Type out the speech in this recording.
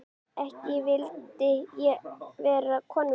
Ekki vildi ég vera konan þín.